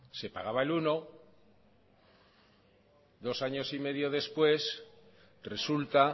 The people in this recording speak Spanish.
se pagaba el uno por ciento dos años y medio después resulta